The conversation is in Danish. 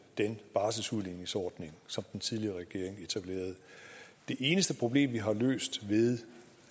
den barselsudligningsordning som den tidligere regering etablerede det eneste problem vi har løst ved